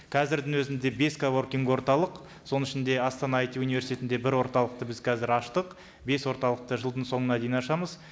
қазірдің өзінде бес коворкинг орталық соның ішінде астана айти университетінде бір орталықты біз қазір аштық бес орталықты жылдың соңына дейін ашамыз